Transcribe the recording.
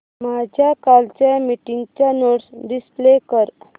माझ्या कालच्या मीटिंगच्या नोट्स डिस्प्ले कर